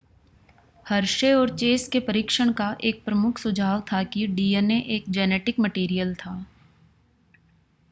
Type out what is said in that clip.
Hershey और Chase के परीक्षण का एक प्रमुख सुझाव था कि dna एक जेनेटिक मटेरियल था